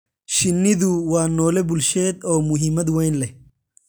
Shinnidu waa noole bulsheed oo muhiimad weyn leh.